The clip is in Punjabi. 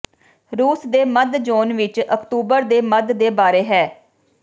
ਰੂਸ ਦੇ ਮੱਧ ਜ਼ੋਨ ਵਿੱਚ ਅਕਤੂਬਰ ਦੇ ਮੱਧ ਦੇ ਬਾਰੇ ਹੈ